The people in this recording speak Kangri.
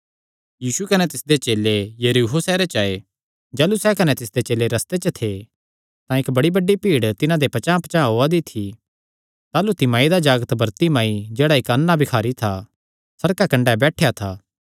यीशु कने तिसदे चेले यरीहो सैहरे च आये जाह़लू सैह़ कने तिसदे चेले रस्ते च थे तां इक्क बड़ी बड्डी भीड़ तिन्हां दे पचांह़पचांह़ ओआ दी थी ताह़लू तिमाई दा जागत बरतिमाई जेह्ड़ा इक्क अन्ना भिखारी था सड़का कंडे बैठेया था